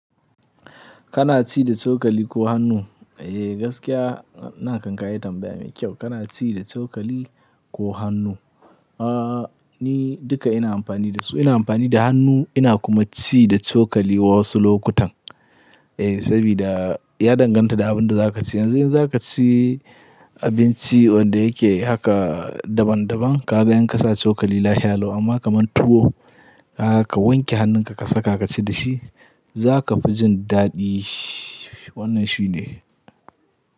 Kana ci da cokali ko hannu? Eh gaskiya nan kam ka yi tambaya mai kyau. Kana ci da cokali ko hannu? Aa ni duka ina amfani da su. Ina amfani da hannu ina kuma ci da cokali wasu lokutan. Eh saboda ya danganta da abin da za ka ci. Yanzu in za ka ci abinci wanda yake haka daban daban ka bayan ka sa cokali lafiya lau amma kaman tuwo ka wanke hannunka ka saka ka ci da shi za ka fi jin daɗi. Wannan shi ne.